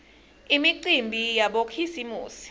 imicimbi yabokhisimusi